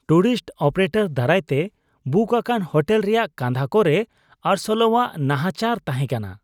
Tourist operator ᱫᱟᱨᱟᱭ ᱛᱮ book ᱟᱠᱟᱱ ᱦᱳᱴᱮᱞ ᱨᱮᱭᱟᱜ ᱠᱟᱸᱫᱷᱟ ᱠᱚᱨᱮ ᱟᱸᱨᱥᱳᱞᱟᱣᱟᱜ ᱱᱟᱦᱟᱪᱟᱨ ᱛᱟᱦᱮᱸ ᱠᱟᱱᱟ ᱾